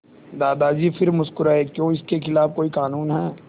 दादाजी फिर मुस्कराए क्यों इसके खिलाफ़ कोई कानून है